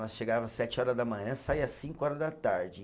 Nós chegava sete horas da manhã, saía cinco horas da tarde.